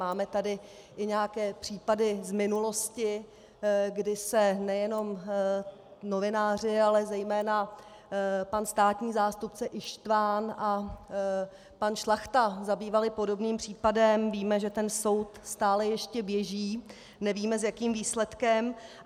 Máme tady i nějaké případy z minulosti, kdy se nejenom novináři, ale zejména pan státní zástupce Ištvan a pan Šlachta zabývali podobným případem, víme, že ten soud stále ještě běží, nevíme, s jakým výsledkem.